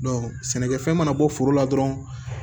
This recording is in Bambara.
sɛnɛkɛfɛn mana bɔ foro la dɔrɔn